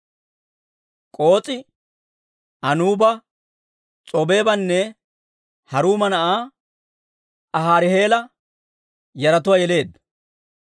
K'oos'i Anuuba, s'obeebanne Haruuma na'aa Ahariheela yaratuwaa yeleedda.